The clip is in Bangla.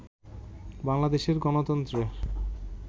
বাংলাদেশের গণতন্ত্রের